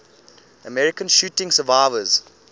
american shooting survivors